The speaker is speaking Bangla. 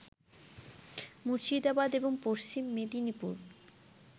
মুর্শিদাবাদ এবং পশ্চিম মেদিনীপুর